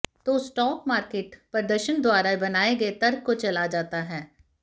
तो stock market प्रदर्शन द्वारा बनाए गए तर्क को चला जाता है